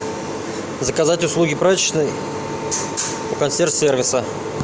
заказать услуги прачечной у консьерж сервиса